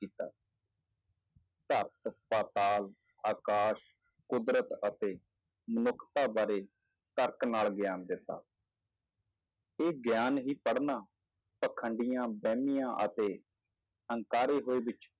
ਧਰਤ, ਪਾਤਾਲ, ਆਕਾਸ਼, ਕੁਦਰਤ ਅਤੇ ਮਨੁੱਖਤਾ ਬਾਰੇ ਤਰਕ ਨਾਲ ਗਿਆਨ ਦਿੱਤਾ ਇਹ ਗਿਆਨ ਹੀ ਪੜ੍ਹਨਾ ਪਾਖੰਡੀਆਂ, ਵਹਿਮੀਆਂ ਅਤੇ ਹੰਕਾਰੇ ਹੋਏ ਵਿੱਚ